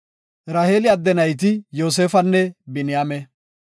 Raheeli adde nayti Yoosefanne Biniyaame.